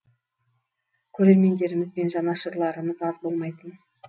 көрермендеріміз бен жанашырларымыз аз болмайтын